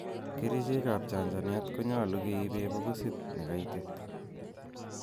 Kerichek ab chanchanet konyolu keiben bokisit nekaitit.